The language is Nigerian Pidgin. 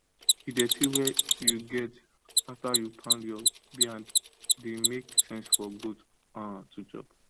the dirty wa u get after u pound your beands the make sense for goat um to chop